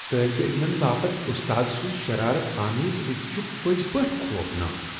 طٲلبہ علمن باپت استاد سُنٛد شرارت آمیز رویہٕ چھ پٔزۍ پٲٹھۍ خوفناک۔